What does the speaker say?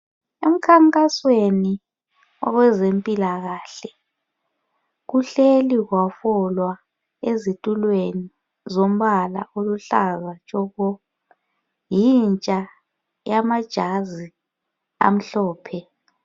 Emkhankasweni owezempilakahle kuhleli kwabolwa ezitulweni zombala oluhlaza tshoko yintsha yamajazi amhlophe .